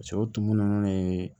o tumu nunnu ye